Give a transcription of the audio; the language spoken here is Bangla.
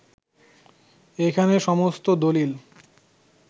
এখানে সমস্ত দলিল